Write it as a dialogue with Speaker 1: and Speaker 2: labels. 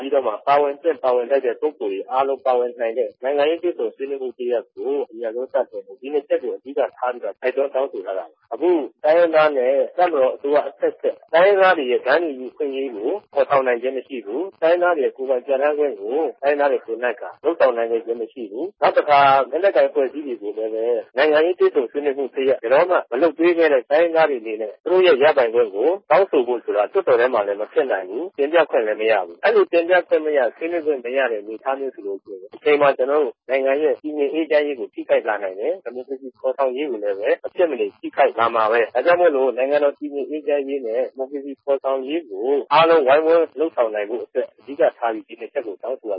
Speaker 1: ပြီးတော့မှ ပါဝင်သင့် ပါဝင်ထိုက်တဲ့ ပုဂ္ဂိုလ်တွေ အားလုံး ပါဝင်နိုင်တဲ့ နိုင်ငံရေး တွေ့ဆုံဆွေးနွေးမှု တရပ်ကို အမြန်ဆုံး စတင်ဖို့ ဒီနှစ်ချက်ကို အဓိက ထားပြီးတော့ တိုက်တွန်းတောင်း ဆိုထားတာပါ။ အခု တိုင်းရင်းသားနဲ့ တပ်မတော် အစိုးရ အဆက်ဆက် တိုင်းရင်းသားတွေရဲ့ တန်းတူညီ အခွင့်အရေးကို ဖော်ဆောင်နိုင်ခြင်း မရှိဘူး။ တိုင်းရင်းသားတွေရဲ့ ကိုယ်ပိုင်ပြဌာန်းခွင့်ကို တိုင်းရင်းသားတွေ ကိုယ်နှိုက်က လုပ်ဆောင် နိုင်ခဲ့ခြင်းမရှိဘူး။” “နောက်တခါ လက်နက်ကိုင် အဖွဲ့အစည်းတွေကိုလည်းပဲ နိုင်ငံရေး တွေ့ဆုံဆွေးနွေးမှု တရပ် ဘယ်တော့မှ မလုပ်ပေးပဲနဲ့ တိုင်းရင်းသားတွေအနေနဲ့ သူတို့ရဲ့ ရပိုင်ခွင့်ကို တောင်းဆိုဖို့ဆိုတာ လွှတ်တော်ထဲမှာလည်း မဖြစ်နိုင်ဘူး။ တင်ပြခွင့်လည်း မရဘူး။ အဲ့လို တင်ပြခွင့်မရ ဆွေးနွေးခွင့်မရတဲ့ အနေအထားမျိုး ဆိုလို့ရှိရင် တချိန်မှာ ကျနော်တို့ နိုင်ငံရဲ့ တည်ငြိမ်အေးချမ်းရေးကို ထိခိုက်လာနိုင်တယ်။ ဒီမိုကရေစီ ဖော်ဆောင်ရေးကိုလည်းပဲ မဖြစ်မနေ ထိခိုက်လာမှာပဲ ဒါကြောင့်မိုလို့ နိုင်ငံတော် တည်ငြိမ်အေးချမ်းရေးနဲ့ ဒီမိုကရေစီ ဖော်ဆောင်ရေးကို အားလုံးဝိုင်းဝန်းလုပ်ဆောင်နိုင်ဖို့အတွက် အဓိကထားပြီး ဒီ ၂ ချက်ကို တောင်းဆိုရ